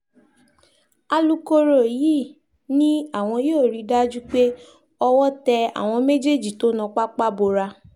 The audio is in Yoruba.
alūkkóró yìí ni àwọn yóò rí i dájú pé owó tẹ àwọn méjèèjì tó ná pápá bora